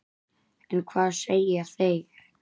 En hvað segja þeir?